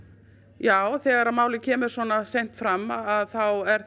já þegar málið kemur svo seint fram þá er